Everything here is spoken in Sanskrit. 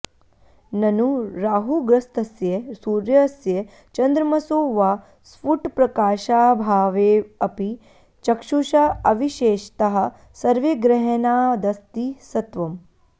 ननु राहुग्रस्तस्य सूर्यस्य चन्द्रमसो वा स्फुटप्रकाशाभावेऽपि चक्षुषा अविशेषतः सर्वैर्ग्रहणादस्ति सत्वम्